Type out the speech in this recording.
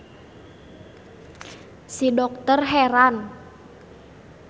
Si dokter heran.